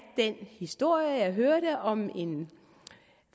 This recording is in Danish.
den historie som jeg hørte om en